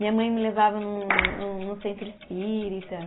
Minha mãe me levava num num, no centro espírita.